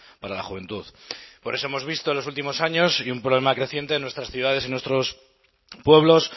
para la juventud por eso hemos visto en los últimos años y un problema creciente en nuestras ciudades y nuestros pueblos